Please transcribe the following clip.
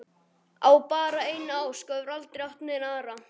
Á bara eina ósk og hefur aldrei átt neina aðra.